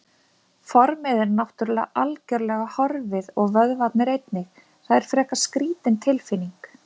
Formið er náttúrulega algjörlega horfið og vöðvarnir einnig, það er frekar skrítin tilfinning.